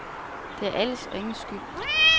Det er alles og ingens skyld.